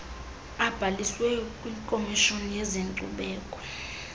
abhaliswe kwikomishoni yezenkcubeko